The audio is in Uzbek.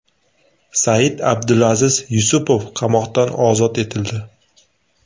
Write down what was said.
Said-Abdulaziz Yusupov qamoqdan ozod etildi.